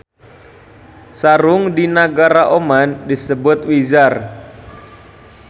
Sarung di nagara Oman disebut wizaar.